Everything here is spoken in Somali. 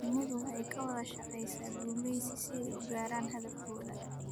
Shinnidu waxay ka wada shaqeysaa gumeysi si ay u gaaraan hadafkooda.